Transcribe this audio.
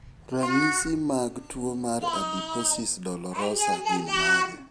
Ranyisi mag tuo mar adiposis dolorosa gin mage?